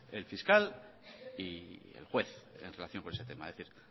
el fiscal y el juez en relación con ese tema es decir